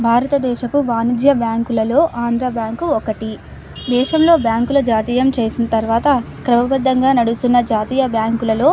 భారతదేశపు వానిధ్య బ్యాంకు లలో ఆంధ్ర బ్యాంకు ఒకటి దేశంలో బ్యాంకు లో జాతీయం చేసిన తర్వాత క్రమబద్ధంగా నడుస్తున్న జాతీయ బ్యాంకు లలో --